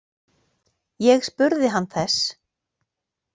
Ég spurði hann þess.